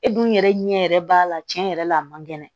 E dun yɛrɛ ɲɛ yɛrɛ b'a la tiɲɛ yɛrɛ la a man kɛnɛ